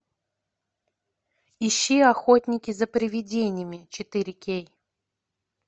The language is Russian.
ищи охотники за приведениями четыре кей